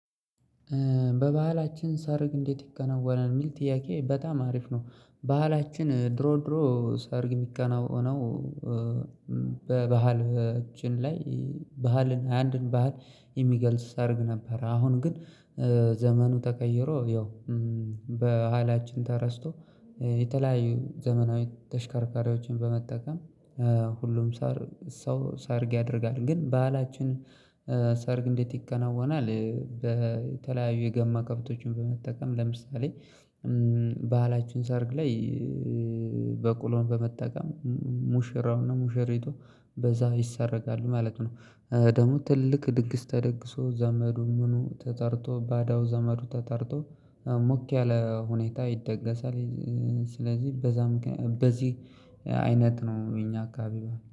በባህላችን ሰርግ እንዴት ይከናወናል የሚል ጥያቄ በጣም አሪፍ ነው። ባህላችን ድሮ ድሮ ሰርግ የሚከናወነው። በባህል እጅን ላይ ባህልን አንድን ባህል የሚገልጽ ሰርግ ነበር። አሁን ግን ዘመኑ ተቀይሮ ያው ባህላችን ተረስቶ የተለያዩ ዘመናዊ ተሽከርካሪዎችን በመጠቀም ሁሉም ሳር ሳርግ ያደርጋል። ግን ባህላችን ሳርግ እንዴት ይከናወናል? በተለያዩ የገማ ከብቶችን በመጠቀም ለምሳሌ ባህላችን ሰርግ ላይ በቅሎን በመጠቀም ሙሽራውና ሙሽሪቶ በዛ ይሰረጋሉ ማለት ነው። ደግሞ ትልቅ ድንግስ ተደግሶ ዘመዱን ምኑ ተጠርቶ ባዳው ዘመዱ ተጠርቶ ሞክ ያለ ሁኔታ ይደገሳል። ስለዚህ በዛ በዚህ አይነት ነው እኛ አካባቢ ይላል